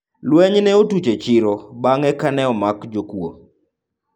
vurugu zilitokea sokoni baada ya wezi kukamatwa